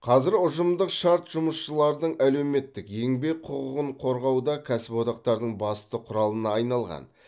қазір ұжымдық шарт жұмысшылардың әлеуметтік еңбек құқығын қорғауда кәсіподақтардың басты құралына айналған